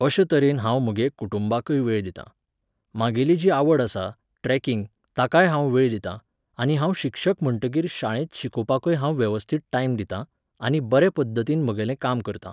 अशें तरेन हांव म्हगे कुटुंबाकय वेळ दितां. म्हागेली जी आवड आसा, ट्रॅकिंग, ताकाय हांव वेळ दितां आनी हांव शिक्षक म्हणटकीर शाळेंत शिकोवपाकय हांव वेवस्थीत टायम दितां, आनी बरे पद्दतीन म्हगेलें काम करता